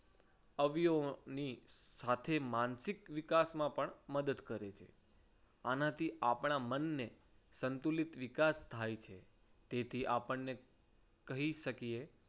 અવયવોની સાથે માનસિક વિકાસમાં પણ મદદ કરે છે. આનાથી આપણા મનની સંતુલિત વિકાસ થાય છે. તેથી આપણને કહી શકીએ